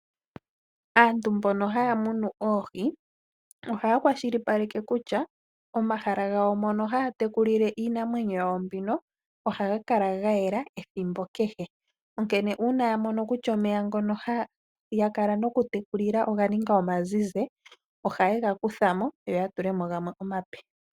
Aantu mbono haya munu oohi, ohaya kwashilipaleke kutya momahala gawo mono haya tekulile iinamwenyo yawo mbino ohaga kala ga yela ethimbo kehe, onkene uuna ya mono kutya omeya ngono haya kala noku tekulila oga ninga omazizi, ohaye ga kutha mo, yo ya tule mo gamwe omape.